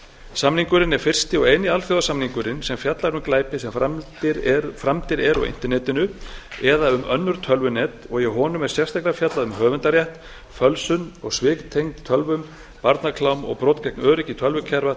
samningurinn er fyrsti og eini alþjóðasamningurinn sem fjallar um glæpi sem framdir eru á internetinu eða um önnur tölvunet og í honum er sérstaklega fjallað um höfundarétt fölsun og svik tengd tölvum barnaklám og brot gegn öryggi tölvukerfa